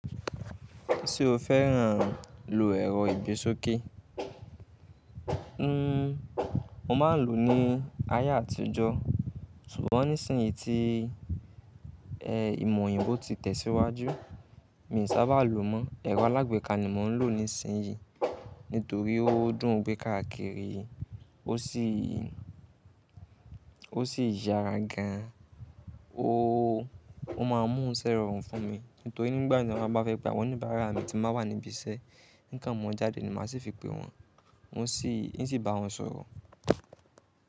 Ṣé o fẹ́ràn lo ẹ̀rọ ìgbésókè? Hmm, mo máa ń lò ní ayé àtijọ́, ṣùgbọ́n nísìnyí tí ìmò òyìnbó ti tẹ̀síwájú, mi ò sábà lò mọ́. Ẹ̀rọ alágbèéká ni mò ń lò nísìnyí, nítorí ó dùn gbé káàkiri, ó sì, ó sì yára gan. O máa mú sẹ́rọ̀ rorún fún mi, nítorí nígbà naa ta bá fẹ́ pe awon ọ́níbaara mi tí máa wà níbi iṣẹ́. Nkan mọ́ jáde ni màá ṣi fi pe wọ́n, wọn sì, n sì bá wọn sọ̀rọ̀.